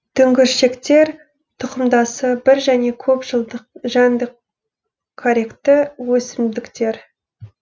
дүңгіршектер тұқымдасы бір және көп жылдық жәндікқаректі өсімдіктер